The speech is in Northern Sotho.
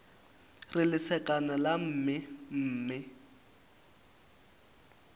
re lesekana la mme mme